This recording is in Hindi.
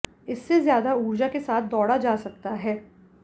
इससे ज्यादा ऊर्जा के साथ दौड़ा जा सकता है